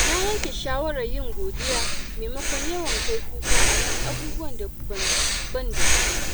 Na yanke shawarar yin godiya maimakon yawan kai kuka akan abubuwan da ban da su.